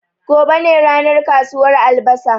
Gobe ne ranar kasuwar albasa